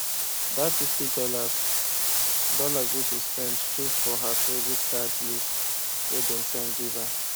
that fifty dollars dollars wey she spend show for her credit card list wey dem send give her